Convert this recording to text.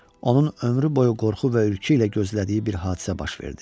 Onun ömrü boyu qorxu və ürkü ilə gözlədiyi bir hadisə baş verdi.